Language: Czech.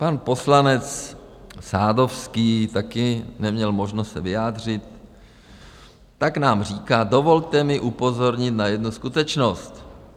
Pan poslanec Sadovský taky neměl možnost se vyjádřit., tak nám říká: Dovolte mi upozornit na jednu skutečnost.